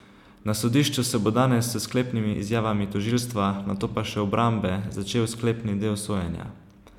Na sodišču se bo danes s sklepnimi izjavami tožilstva, nato pa še obrambe, začel sklepni del sojenja.